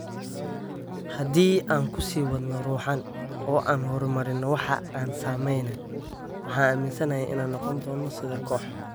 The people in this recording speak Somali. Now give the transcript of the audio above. Haddii aan ku sii wadno ruuxaan, oo aan horumarino waxa aan sameyneyno, waxaan aaminsanahay inaan noqon doono sida koox.""